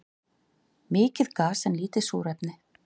Mikið gas en lítið súrefni